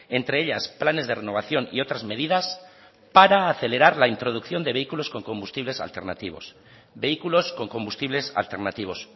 entre ellas planes de renovación y otras medidas para acelerar la introducción de vehículos con combustibles alternativos vehículos con combustibles alternativos